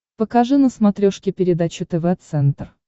покажи на смотрешке передачу тв центр